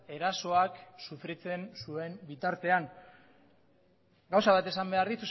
erasoak sufritzen zuen bitartean gauza bat esan behar